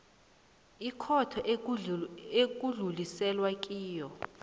ikhotho ekudluliselwe kiyo